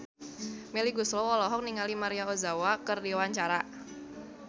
Melly Goeslaw olohok ningali Maria Ozawa keur diwawancara